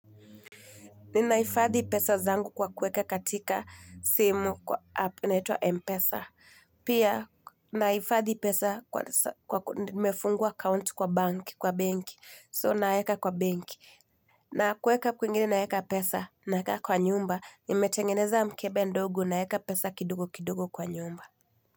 Ninahifadhi pesa zangu kwa kweka katika simu kwa app inaitwa Mpesa. Pia nahifadhi pesa kwa nimefungua account kwa bank, kwa benki. So naeka kwa benki. Na kuweka kwingine naweka pesa naweka kwa nyumba. Nimetengeneza mkebe ndogo naweka pesa kidogo kidogo kwa nyumba.